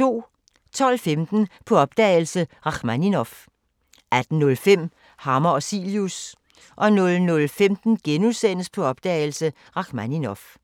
12:15: På opdagelse – Rakhmaninov 18:05: Hammer og Cilius 00:15: På opdagelse – Rakhmaninov *